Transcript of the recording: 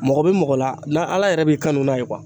Mɔgɔ bɛ mɔgɔ la , n'a ala yɛrɛ b'i kanu n'a ye